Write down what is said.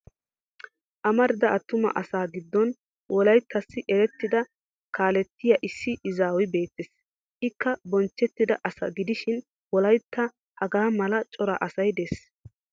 Amarida attuma asaa giddon wolayttassi erettida kaalettiya issi izaaway beettes. Ikka bonchchettida asa gidishin wolayttan hagaa mala cora asay des.